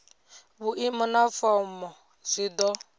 vhuimo na fomo zwi do